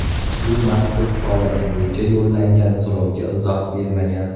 U mazkur holat bo‘yicha yo‘llangan so‘rovga izoh bermagan.